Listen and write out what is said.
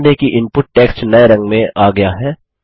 ध्यान दें कि इनपुट टेक्स्ट नये रंग में आ गया है